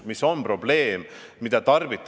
Mis on probleem?